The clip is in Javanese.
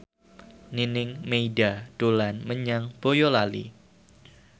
Nining Meida dolan menyang Boyolali